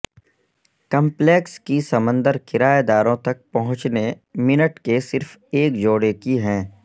complex کی سمندر کرایہ داروں تک پہنچنے منٹ کے صرف ایک جوڑے کی ہیں